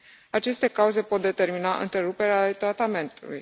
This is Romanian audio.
Aceste cauze pot determina întreruperi ale tratamentului.